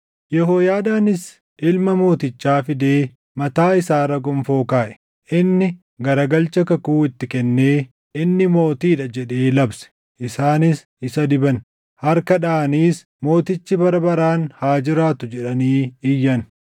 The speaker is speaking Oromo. Yehooyaadaanis ilma mootichaa fidee mataa isaa irra gonfoo kaaʼe; inni garagalcha kakuu itti kennee, “Inni mootii dha” jedhee labse. Isaanis isa diban; harka dhaʼaniis, “Mootichi bara baraan haa jiraatu!” jedhanii iyyan.